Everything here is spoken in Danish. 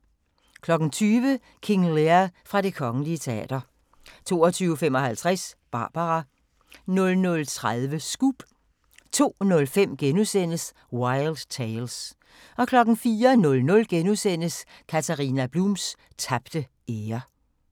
20:00: King Lear fra Det Kgl. Teater 22:55: Barbara 00:30: Scoop 02:05: Wild Tales * 04:00: Katharina Blums tabte ære *